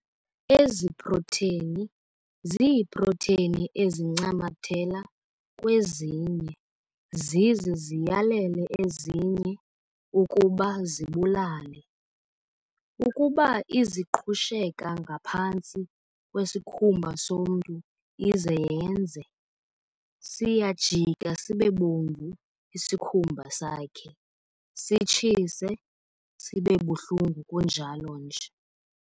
Ezi proteni ziiproteni ezincamathela kwezinye ] zize ziyalele ezinye ii] ukuba zibulale. Ukuba ] iziqhusheka ngaphantsi kwesikhumba somntu ize yenze ], siyajika sibebomvu isikhumba sakhe, sitshise, sibebuhlungu kunjalo nje.